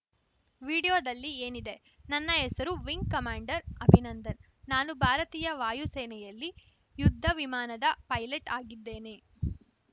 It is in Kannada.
ವಿಡಿಯೋದಲ್ಲಿ ಏನಿದೆ ನನ್ನ ಹೆಸರು ವಿಂಗ್‌ ಕಮಾಂಡರ್‌ ಅಭಿನಂದನ್‌ ನಾನು ಭಾರತೀಯ ವಾಯು ಸೇನೆಯಲ್ಲಿ ಯುದ್ಧ ವಿಮಾನದ ಪೈಲಟ್‌ ಆಗಿದ್ದೇನೆ